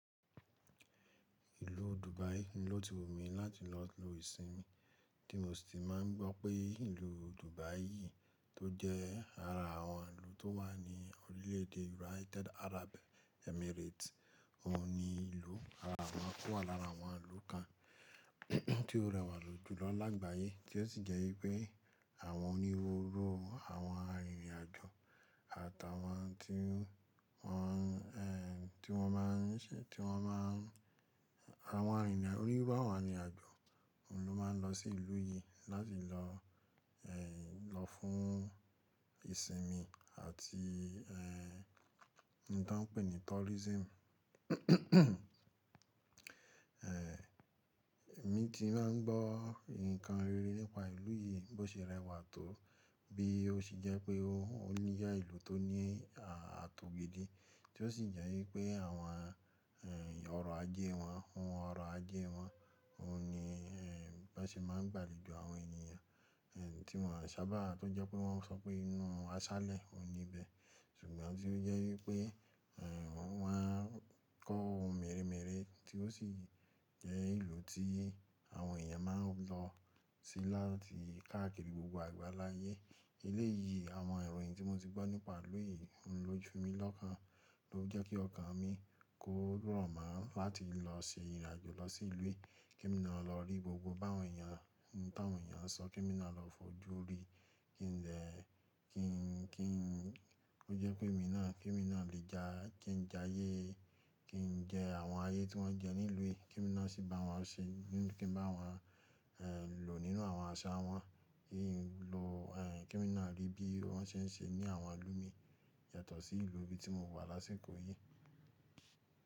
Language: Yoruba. Ìlú Dubai ní lò ti wù mí láti lọ lo ìsinmi, kí mo sì ti máà ń gbọ́ pé ìlú Dubai yìí tó jẹ́ ara àwọn ìlú tó wà ní orílẹ̀ èdè United Arab Emirates, òun ni ìlú ara awon tó wà lára àwọn ìlú kan tí ó rẹwà lójú lọ lágbàyé tí ó sì jẹ́ wípé àwọn onírúurú àwọn arìnrìn àjò àtàwọn tí wọ́n, ẹ́ ti wọ́n máà ń ṣe, tí wọ́n máà, àwọn arìnrìn onírúurú àwọn arìnrìn àjò, òun ló máa ń lọ sí ìlú yìí láti lọ, ẹ́hn lọ fún ìsinmi àti ẹ́ ohun tọn n pè ní tourism. Ẹ̀ emí ti máa ń gbọ́ nǹkan rere nípa ìlú yìí bó ṣe rẹwà tó bí ó ṣe jẹ́ pé ó níyà ìlú tó ní àtògbe de tí ó sì jẹ́ wípé àwọn ẹ́ ọ̀rọ̀ ajé wọn, ohun ọ̀rọ̀ ajé wọn, òun ni ẹ́ ẹ bon ṣe máa ń gbàlèjo àwọn èniyàn ẹ́ tí wọ́n sábà tó jẹ́ pé wọ́n sọ pé inú aṣálẹ̀ òun níbẹ ṣùgbọ́n tí ó jẹ́ wípé ẹ́ wọ́n máa ń kọ́ ohun mèremère tí ó sì jẹ́ ìlú tí àwọn èèyàn máa ń lọ sí láti káàkiri gbogbo àgbàláyé. Eléyìí àwọn iròyìn tí mo ti gbọ́ nípa ìlú yìí n ló ju mi lọ́kán ló jẹ́ kí ọkàn mi kó rọ̀ mo láti lọ ṣe ìrìn àjò lọ sí ìlú yìí kemi náa lọ rí gbogbo báwọn èèyàn ohun tàwọn èèyàn sọ, kemi naá lọ fojú rí kí n lè, kí n, kí n, ó jẹ́ pémi náà kemi náa lè ja, kí n jayé, kí n jẹ àwọn ayé tí wọ́n jẹ nílú yìí, kemi náa sì bá wọn ṣe, kí n bá wọn ẹ́ lò nínú àwọn àṣà wọn, kí n lo ẹ́ kemi náa rí bí wọ́n ṣe ń ṣe ní àwọn ìlú mii yàtọ̀ sìlú ibi tí mo wà lásìkò yìí.